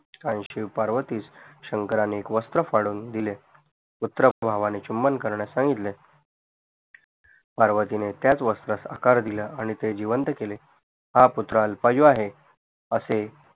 आणि शिव पार्वतीस शंकराने एक वस्त्र फाड़न दिले पुत्र भावाने चुंबन करण्यास सांगितले पार्वतीने त्यास वास्रास आकार दिल्ल आणि ते जीवंत केले हा पुत्र अल्पआयू आहे असे